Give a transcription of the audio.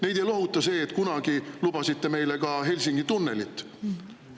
Neid ei lohuta see, et kunagi lubasite meile ka Helsingi tunnelit.